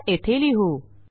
हा येथे लिहू